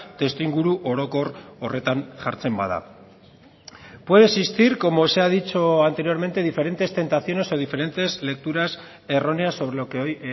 testuinguru orokor horretan jartzen bada puede existir como se ha dicho anteriormente diferentes tentaciones o diferentes lecturas erróneas sobre lo que hoy